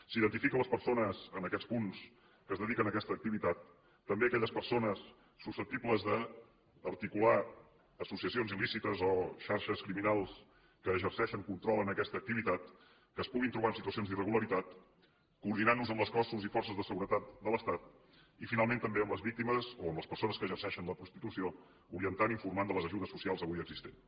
s’identifica les persones en aquests punts que es dediquen a aquesta activitat també aquelles persones susceptibles d’articular associacions il·lícites o xarxes criminals que exerceixen control en aquesta activitat que es puguin trobar en situacions d’irregularitat coordinant nos amb els cossos i forces de seguretat de l’estat i finalment també les víctimes o les persones que exerceixen la prostitució i se’ls orienta i informa de les ajudes socials avui existents